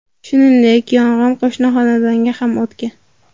Shuningdek, yong‘in qo‘shni xonadonga ham o‘tgan.